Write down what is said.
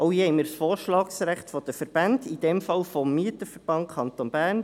Auch hier haben wir das Vorschlagsrecht der Verbände, hier des Mieterverbands Kanton Bern: